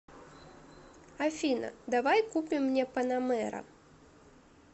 афина давай купим мне панамера